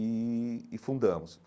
E e fundamos.